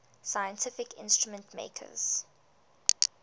scientific instrument makers